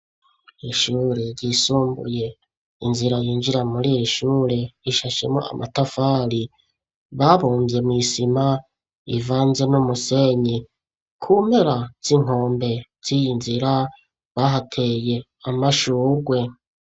Ishure ryisumbuye. Inzira yinjira muri iri shure ishashemwo amatafari babumvye mw'isima ivanze n'umusenyi. ku mpera z'inkombe z'iyi nzira, bahateye amashugwe.